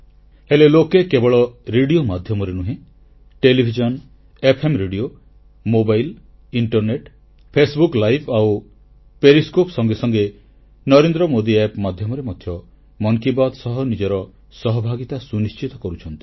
ହେଲେ ଲୋକେ କେବଳ ରେଡ଼ିଓ ମାଧ୍ୟମରେ ନୁହେଁ television FM radio mobile internet Facebook live ଆଉ ପେରିସ୍କୋପ ସଙ୍ଗେ ସଙ୍ଗେ ନରେନ୍ଦ୍ରମୋଦୀ App ମାଧ୍ୟମରେ ମଧ୍ୟ ମନ କି ବାତ୍ ସହ ନିଜର ସହଭାଗିତା ସୁନିଶ୍ଚିତ କରୁଛନ୍ତି